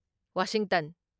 Washington